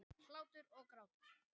Hlátur og grátur.